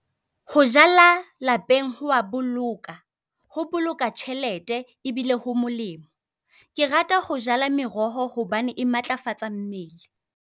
Ho jala lapeng, ho a boloka. Ho boloka tjhelete ebile ho molemo. Ke rata ho jala meroho hobane e matlafatsa mmele.